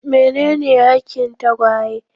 Menene hakin tagwaye?